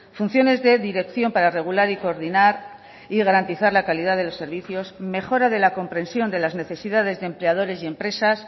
funciones de dirección para regular y coordinar y garantizar la calidad de los servicios mejora de la comprensión de las necesidades de empleadores y empresas